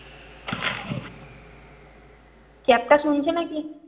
শুনছে না কি?